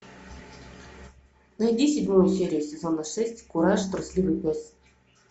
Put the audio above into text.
найди седьмую серию сезона шесть кураж трусливый пес